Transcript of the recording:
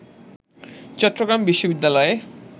চট্টগ্রাম বিশ্ববিদ্যালয়ে